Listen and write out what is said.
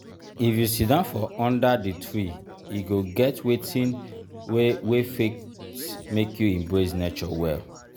if you sidon for under di tree e go get wetin wey wey fit make you embrace nature well.